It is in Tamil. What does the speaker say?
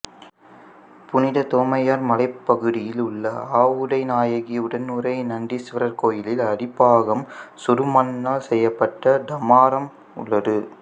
புனித தோமையார் மலைப் பகுதியில் உள்ள ஆவுடைநாயகி உடனுறை நந்தீசுவரர் கோயிலி்ல் அடிப்பாகம் சுடுமண்ணால் செய்யப்பட்ட டமாரம் உள்ளது